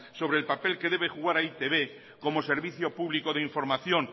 sobre el papel que debe jugar e i te be como servicio público de información